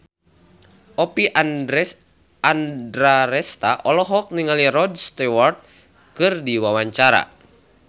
Oppie Andaresta olohok ningali Rod Stewart keur diwawancara